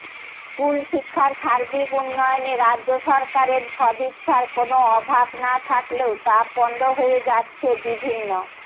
স্কুলশিক্ষার সার্বিক উন্নয়নে রাজ্য সরকারের সদিচ্ছার কোনও অভাব না থাকলেও তা পণ্ড হয়ে যাচ্ছে বিভিন্ন